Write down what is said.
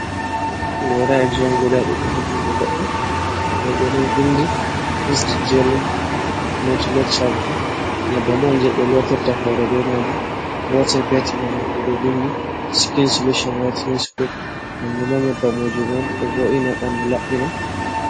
Gora jion guda ɗiɗi ha jungo goɗɗo, ɗo bo ɗo vindi east jerling metele champon, nyebbam on je ɓe lottirta hore be majum, gotel petel manamo bo do vindi skin solution witenes cloub hanjummbo nyebbam wujugo on ɗo vo’ina ɓandu laɓɓina.